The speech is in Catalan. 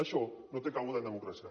això no té cabuda en democràcia